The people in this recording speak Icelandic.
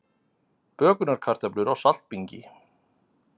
Bökunarkartöflur á saltbingi